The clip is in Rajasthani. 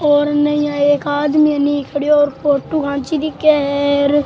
और ऐनी एक आदमी खडियो और फोटो खैंची दिखे है।